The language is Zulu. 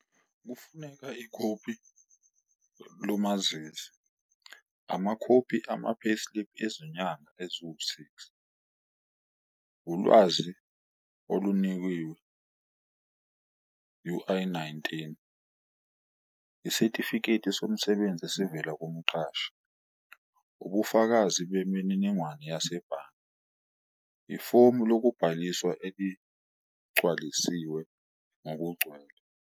Kufuneka ikhophi lomazisi, amakhophi ama-payslip ezinyanga eziwu-six, ulwazi olunikiwe U_I-nineteen. Isitifiketi somsebenzi esivela kumqashi. Ubufakazi bemininingwane yasebhange, ifomu lokubhaliswa eligcwalisiwe ngokugcwele.